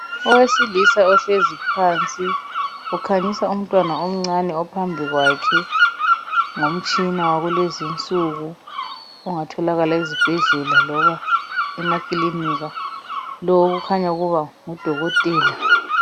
Owesilisa ohlezi phansi ukhanyisa umntwana omncane ophambi kwakhe ngomtshina wakulezinsuku ongatholakala ezibhedlela loba emakilinika lo kukhanya ukuba ngudokotela.